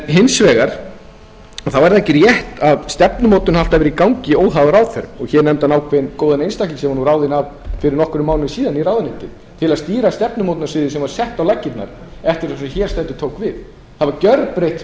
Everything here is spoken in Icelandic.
hins vegar er ekki rétt að stefnumótun hafi alltaf verið í gangi óháð ráðherrum hér nefndi hann ákveðinn góðan einstakling sem var ráðinn fyrir nokkrum mánuðum í ráðuneytið til að stýra stefnumótunarsíðu sem var sett á laggirnar eftir að sá sem hér stendur tók við fyrirkomulaginu var gjörbreytt